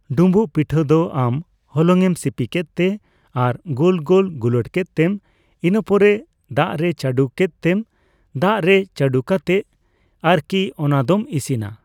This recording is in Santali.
ᱰᱩᱢᱵᱩᱩᱜ ᱯᱤᱴᱷᱟᱹ ᱫᱚ ᱟᱢ ᱦᱚᱞᱚᱝ ᱮᱢ ᱥᱤᱯᱤ ᱠᱮᱜᱛᱮ ᱟᱨ ᱜᱳᱞ ᱜᱳᱞ ᱜᱩᱞᱟᱹᱴ ᱠᱮᱜ ᱛᱮᱢ ᱤᱱᱟᱹ ᱯᱚᱨᱮ ᱫᱟᱜᱨᱮ ᱪᱟᱰᱚ ᱠᱮᱜᱛᱮᱢ ᱫᱟᱜᱨᱮ ᱪᱟᱰᱚ ᱠᱟᱛᱮᱜ ᱟᱨᱠᱤ ᱚᱱᱟ ᱫᱚᱢ ᱤᱥᱤᱱᱟ ᱾